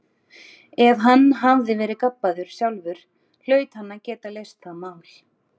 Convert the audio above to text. Ef hann hafði verið gabbaður sjálfur hlaut hann að geta leyst það mál.